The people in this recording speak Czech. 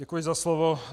Děkuji za slovo.